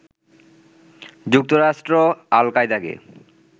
যুক্তরাষ্ট্র আল কায়দাকে